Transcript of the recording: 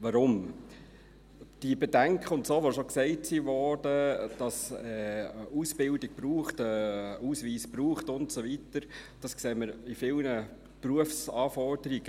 Weshalb? – Die Bedenken, die bereits dargelegt wurden, dass es eine Ausbildung und einen Ausweis braucht und so weiter, sehen wir auch in vielen Berufsanforderungen.